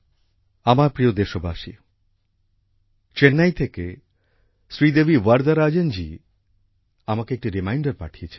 আমার প্রিয় দেশবাসী চেন্নাই থেকে শ্রীদেবী বর্ধরাজন জি আমাকে একটি রিমাইন্ডার পাঠিয়েছেন